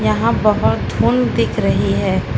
यहां बहोत धुंध दिख रही है।